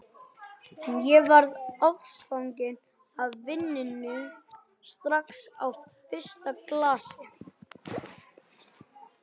En ég varð ástfangin af víninu strax á fyrsta glasi.